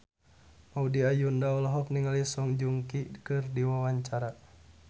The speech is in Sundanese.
Maudy Ayunda olohok ningali Song Joong Ki keur diwawancara